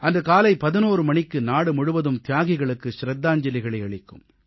அன்று காலை 11 மணிக்கு நாடு முழுவதும் தியாகிகளுக்கு சிரத்தாஞ்சலிகளை அளிக்கும்